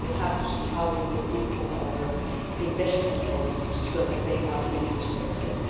We will have to see how we will improve our investment policies so that they are truly sustainable.